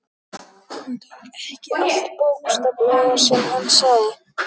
Hún tók ekki allt bókstaflega sem hann sagði.